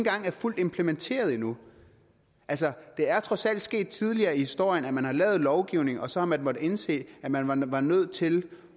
engang er fuldt implementeret endnu altså det er trods alt sket tidligere i historien at man har lavet lovgivning og så har man måttet indse at man man var nødt til